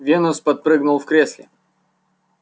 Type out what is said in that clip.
венус подпрыгнул в кресле